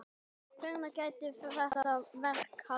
Hvenær gæti þetta verk hafist?